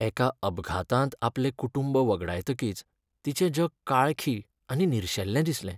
एका अपघातांत आपलें कुटुंब वगडायतकीच तिचें जग काळखी आनी निरशेल्लें दिसलें.